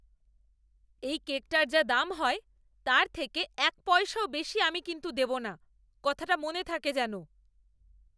এই কেকটার যা দাম হয় তার থেকে এক পয়সাও বেশি আমি কিন্তু দেবো না! কথাটা মনে থাকে যেন!